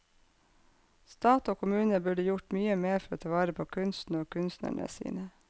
Stat og kommune burde gjort mye mer for å ta vare på kunsten og kunstnerne sine.